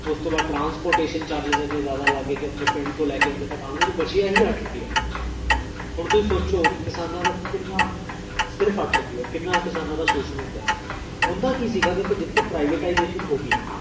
ਓਸ ਤੋਂ ਬਾਦ transportation charges ਇੰਨੇ ਜਾਦਾ ਲੱਗਏ, ਕ ਓਹ ਆਪਣੇ ਪਿੰਡ ਤੋ ਲੈ ਕੇ, ਇਥੇ ਤਕ ਆਨ ਓਨੁ ਬਚਿਆ ਹੀ ਅਠ ਰੁਪਿਆ ਹੁਣ ਤੁਸੀਂ ਸੋਚੋ ਕੀ ਕਿਸਾਨਾ ਦਾ ਕਿੰਨਾਸਿਰਫ ਅਠ ਰੁਪਿਆ ਕਿੰਨਾ ਕਿਸਾਨਾ ਦਾ ਸ਼ੋਸ਼ਣ ਹੁੰਦੇਓਂਦਾ ਕੀ ਸੀਗਾ, ਦੇਖੋ ਜਿਥੇ privatisation ਹੋਗੀ,